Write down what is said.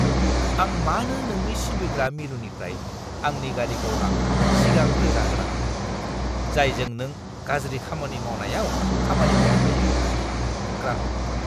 आं मानो नोंनि सिबिग्रा मिरुनिफ्राय आंनि गारिखौ लांफिननो सिगांग्रो जाहोनाङो, जायजों नों गाज्रि खामानि मावनायाव खामानि मावनो हायो? (ग्राहक)